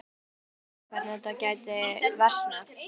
Við sáum reyndar ekki alveg hvernig þetta gæti versnað.